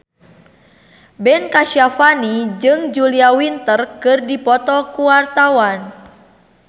Ben Kasyafani jeung Julia Winter keur dipoto ku wartawan